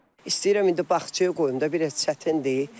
İstəyirəm indi bağçaya qoyum da, biraz çətindir.